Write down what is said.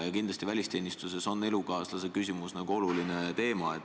Kindlasti on välisteenistuses elukaaslaseküsimus oluline teema.